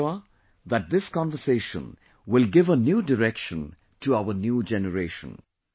I am sure that this conversation will give a new direction to our new generation